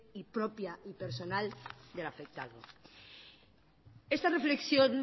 y propia y personal del afectado esta reflexión